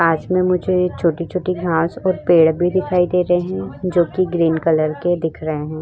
पास में मुझे छोटी छोटी घास और पेड़ भी दिखाई दे रहे हैं जो कि ग्रीन कलर के दिख रहे हैं।